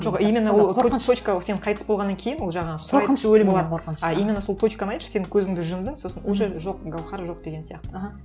жоқ именно ол точка сен қайты болғаннан кейін ол жаңағы а именно сол точканы айтшы сен көзіңді жұмдың сосын уже жоқ гауһар жоқ деген сияқты аха